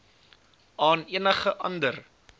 aan enige ander